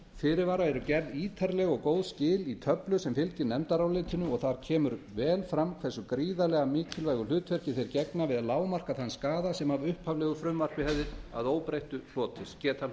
fyrirvara eru gerð ítarleg og góð skil í töflu sem fylgir nefndarálitinu og þar kemur vel fram hve gríðarlega mikilvægu hlutverki þeir gegna við að lágmarka þann skaða sem af upphaflegu frumvarpi hefði að óbreyttu getað